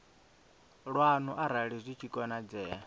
lwanu arali zwi tshi konadzea